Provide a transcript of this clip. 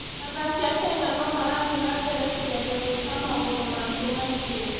Athaki a Kenya no marathiĩ na mbere kũgeria gwĩka maũndũ mangĩ maingĩ.